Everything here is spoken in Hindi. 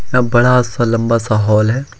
यह बड़ा सा लंबा सा हॉल है।